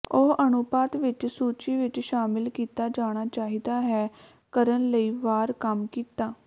ਉਹ ਅਨੁਪਾਤ ਵਿੱਚ ਸੂਚੀ ਵਿੱਚ ਸ਼ਾਮਿਲ ਕੀਤਾ ਜਾਣਾ ਚਾਹੀਦਾ ਹੈ ਕਰਨ ਲਈ ਵਾਰ ਕੰਮ ਕੀਤਾ